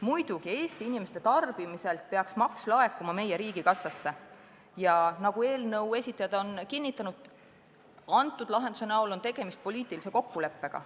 Muidugi peaks Eesti inimeste tarbimise pealt võetav maks laekuma meie riigikassasse ja nagu eelnõu esitlejad on kinnitanud, pakutud lahenduse näol on tegemist poliitilise kokkuleppega.